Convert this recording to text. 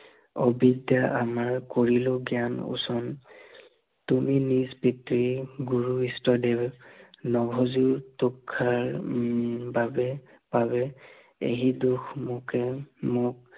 অবিদ্য়া আমাৰ কৰিয়ো জ্ঞান ওচন, তুমি নিজ পিতৃ গুৰু ইস্তদেৱ, নভজো তুষাৰ বাবে, এহি দুখ মোকে মোক